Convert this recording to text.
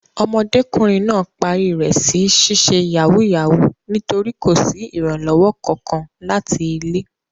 Ọmọdékùnrin náà parí rẹ̀ sí ṣíṣe yàwúúyàwuù nítorí kò sí ìrànlọ́wọ́ Kankan láti ilé.